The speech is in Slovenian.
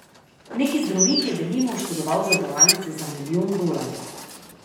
Neki zdravnik je, denimo, oškodoval zavarovalnico za milijon dolarjev.